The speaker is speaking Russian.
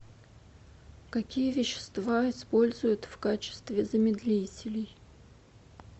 какие вещества используют в качестве замедлителей